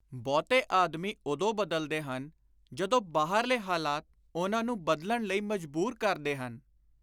ਬਹੁਤੇ ਆਦਮੀ ਉਦੋਂ ਬਦਲਦੇ ਹਨ, ਜਦੋਂ ਬਾਹਰਲੇ ਹਾਲਾਤ ਉਨ੍ਹਾਂ ਨੂੰ ਬਦਲਣ ਲਈ ਮਜਬੁਰ ਕਰਦੇ ਹਨ।